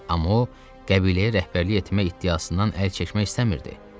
Amma o qəbiləyə rəhbərlik etmək iddiasından əl çəkmək istəmirdi.